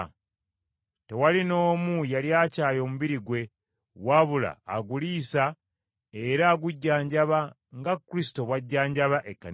Tewali n’omu yali akyaye omubiri gwe, wabula aguliisa era agujjanjaba nga Kristo bw’ajjanjaba Ekkanisa ye,